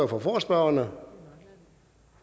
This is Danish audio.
for forespørgerne